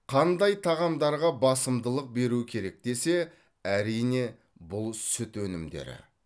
қандай тағамдарға басымдылық беру керек десе әрине бұл сүт өнімдері